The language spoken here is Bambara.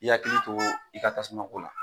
I yakili to i ka tasumako la